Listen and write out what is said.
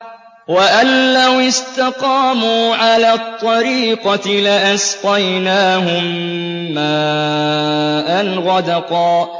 وَأَن لَّوِ اسْتَقَامُوا عَلَى الطَّرِيقَةِ لَأَسْقَيْنَاهُم مَّاءً غَدَقًا